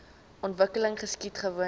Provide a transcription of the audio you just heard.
ontwikkeling geskied gewoonlik